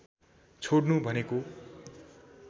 छोड्नु भनेको